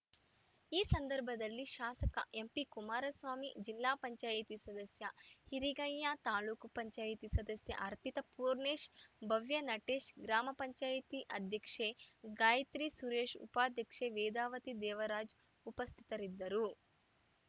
ಈ ಸಂದರ್ಭದಲ್ಲಿ ಶಾಸಕ ಎಂಪಿ ಕುಮಾರಸ್ವಾಮಿ ಜಿಲ್ಲಾ ಪಂಚಾಯಿತಿ ಸದಸ್ಯ ಹಿರಿಗಯ್ಯ ತಾಲೂಕ್ ಪಂಚಾಯಿತಿ ಸದಸ್ಯೆ ಅರ್ಪಿತ ಪೂರ್ಣೇಶ್‌ ಭವ್ಯ ನಟೇಶ್‌ ಗ್ರಾಮ ಪಂಚಾಯಿತಿ ಅಧ್ಯಕ್ಷೆ ಗಾಯತ್ರಿ ಸುರೇಶ್‌ ಉಪಾಧ್ಯಕ್ಷೆ ವೇದಾವತಿ ದೇವರಾಜ್‌ ಉಪಸ್ಥಿತರಿದ್ದರು